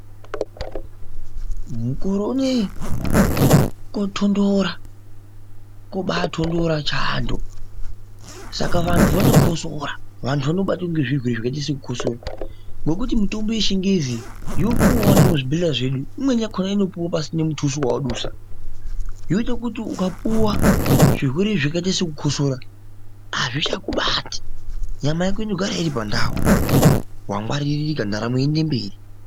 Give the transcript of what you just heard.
Mukore unoiyi, kotonhora ,kobatonhora chando saka vantu vanokosora ,vantu vanobatwe ngezvirwere zvakaite sekukosora ,ngekuti mitombo yechingezi yopuwa nemuzvibhedlera zvedu, imweni yakona pasinemutuso wawadusa, yoita kuti ukapuwa zvirwerwe zvakaita sekukosora hazvichakubati nyama yako inogara iri pandawo wangwaririka ntaramo yoende mberi.